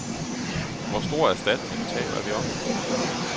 Hvor stor erstatning taler vi om?